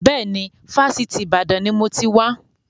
Bẹ́ẹ̀ni, Fásitì Ìbàdàn ni mo ti wà.